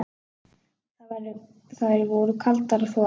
Þær voru kaldar og þvalar.